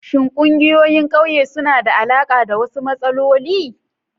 Shin ƙungiyoyin ƙauye suna da alaƙa da wasu matsaloli?